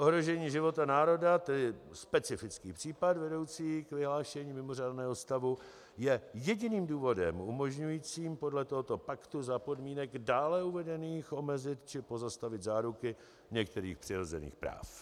Ohrožení života národa, tedy specifický případ vedoucí k vyhlášení mimořádného stavu, je jediným důvodem umožňujícím podle tohoto paktu za podmínek dále uvedených omezit či pozastavit záruky některých přirozených práv.